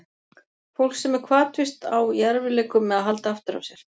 Fólk sem er hvatvíst á í erfiðleikum með að halda aftur af sér.